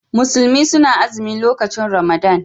Musulmi suna azimi lokacin Ramadan.